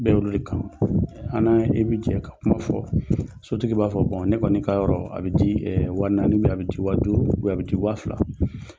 Bɛ ye olu le kama an n'a e bɛ jɛn ka kuma fɔ sotigi b'a fɔ ne kɔni ka yɔrɔ a bɛ di wa naani a bɛ di wa fila.